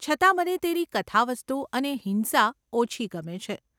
છતાં, મને તેની કથાવસ્તુ અને હિંસા ઓછી ગમે છે.